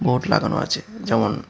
লাগানো আছে যেমন--